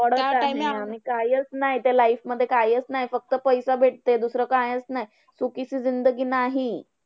कायचं नाही, त्या life मध्ये कायचं नाही फक्त पैसा भेटते. दुसरं कायचं नाही सुखींची जिंदगी नाही.